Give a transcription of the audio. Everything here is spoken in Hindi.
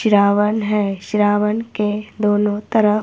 सिरावन है सिरावन के दोनों तरफ--